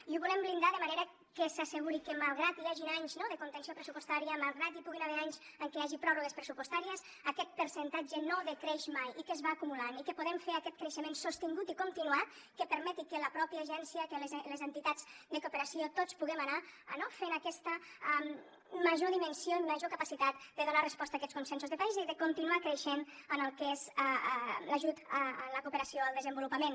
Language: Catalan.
i ho volem blindar de manera que s’asseguri que malgrat que hi hagin anys de contenció pressupostària malgrat que hi puguin haver anys en què hi hagi pròrrogues pressupostàries aquest percentatge no decreix mai i que es va acumulant i que podem fer aquest creixement sostingut i continuat que permeti que la pròpia agència que les entitats de cooperació tots puguem anar fent aquesta major dimensió i major capacitat de donar resposta a aquests consensos de país i de continuar creixent en el que és l’ajut a la cooperació al desenvolupament